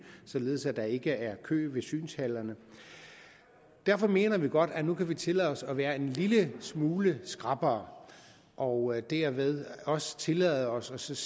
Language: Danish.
således at der ikke er kø ved synshallerne derfor mener vi godt at vi nu kan tillade os at være en lille smule skrappere og dermed også tillade os